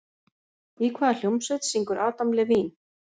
Í hvaða hljómsveit syngur Adam Levine?